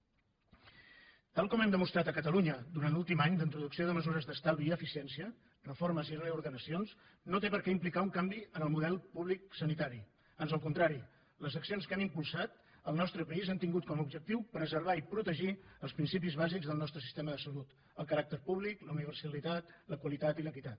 tal com hem demostrat a catalunya durant l’últim any la introducció de mesures d’estalvi i eficiència reformes i reordenacions no té per què implicar un canvi en el model públic sanitari ans al contrari les accions que hem impulsat al nostre país han tingut com a objectiu preservar i protegir els principis bàsics del nostre sistema de salut el caràcter públic la universalitat la qualitat i l’equitat